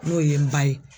N'o ye n ba ye